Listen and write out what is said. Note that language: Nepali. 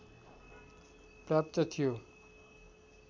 प्राप्त थियो